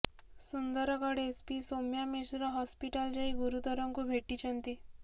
Sundargarh SP Soumya Mishra hospital ଯାଇ ଗୁରୁତରଙ୍କୁ ଭେଟିଛନ୍ତି